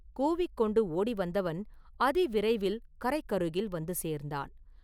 கூவிக் கொண்டு ஓடி வந்தவன் அதிவிரைவில் கரைக்கருகில் வந்து சேர்ந்தான்.